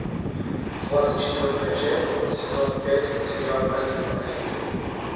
двадцать четвертая часть сезон пять сериал мастер и маргарита